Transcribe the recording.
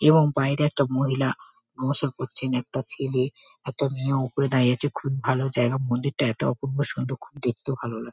এবং বাইরে একটা মহিলা নমস্কার করছেন একটা ছেলে একটা মেয়ে ওপরে দাঁড়িয়ে আছে খুব ভালো জায়গা মন্দিরটা এতো অপূর্ব সুন্দর খুব দেখতেও ভালো লাগছে।